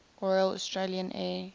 royal australian air